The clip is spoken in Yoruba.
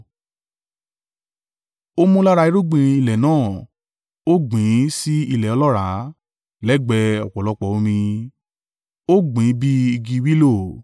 “ ‘Ó mú lára irúgbìn ilẹ̀ náà, ó gbìn ín sí ilẹ̀ ọlọ́ràá, lẹ́gbẹ̀ẹ́ ọ̀pọ̀lọpọ̀ omi, ó gbìn ín bí igi wílóò.